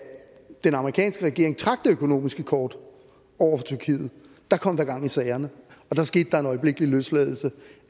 den amerikanske regering trak det økonomiske kort over for tyrkiet kom der gang i sagerne og der skete der en øjeblikkelig løsladelse